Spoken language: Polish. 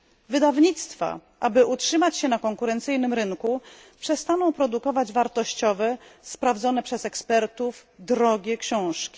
Wydawnictwa, aby utrzymać się na konkurencyjnym rynku, przestaną produkować wartościowe, sprawdzone przez ekspertów, drogie książki.